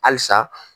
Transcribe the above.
Halisa